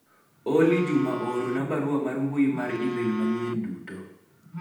Olly Juma oorona barua mar mbui mar email manyied duto